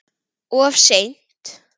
Of seint.